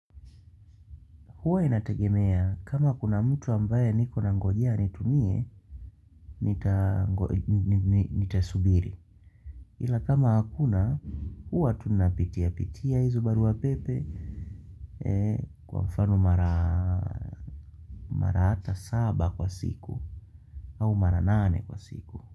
Huwa inategemea kama kuna mtu ambaye niko nangojia anitumie, nitasubiri. Ila kama hakuna, huwa tunapitia-pitia izo barua pepe kwa mfano mara ata saba kwa siku au mara nane kwa siku.